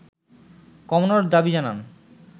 কমানোর দাবি জানান